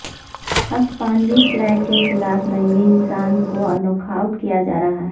ہسپانوی فلیٹ کے خلاف ننگے انسان کو انوکھاوٹ کیا جا رہا ہے